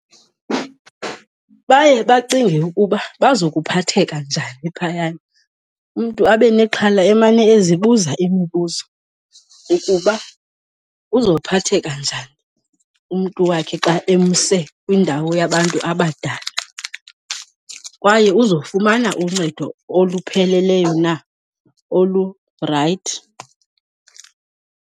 Baye bacinge ukuba bazokuphatheka njani phayana. Umntu abe nexhala emane ezibuza imibuzo ukuba uzophatheka njani umntu wakhe xa emse kwindawo yabantu abadala kwaye uzofumana uncedo olupheleleyo na, olurayithi.